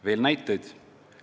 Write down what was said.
Veel näiteid.